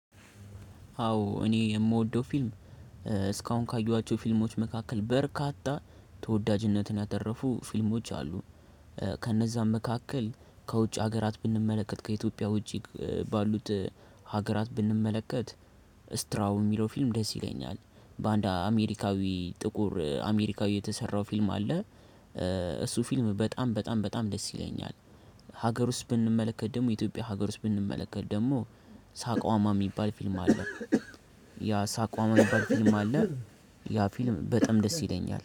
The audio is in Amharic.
አዎ እኔ የምወደው ፊልም እስካሁን ካየኋቸው ፊልሞች መካከል በርካታ ተወዳጅነትን ያተረፉ ፊልሞች አሉ። ከነዛም መካከል ከ ውጭ ሀገራት ብንመለከት ከኢትዮጵያ ውጪ ባሉት ሀገራት ብንመለከት ትራዎ የሚለው ፊልም ደስ ይለኛል። በአንድ አሜሪካዊ ጥቁር አሜሪካዊ የተሰራ ፊልም አለ። እሱ ፊልም በጣም በጣም በጣም ደስ ይለኛል። ሀገር ውስጥ ብንመለከት ደግሞ የኢትዮጵያ ሀገር ውስጥ ብንመለከት ደግሞ ሳቋማ የሚባል ፊልም አለ። ያ ሳቋማ ሚባል ፊልም አለ ያ ፊልም በጣም ደስ ይለኛል